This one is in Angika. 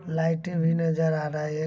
लाइटे भी नजर आ रही--